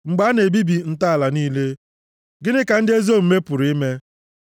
Mgbe a na-ebibi ntọala niile, gịnị ka ndị ezi omume pụrụ ime?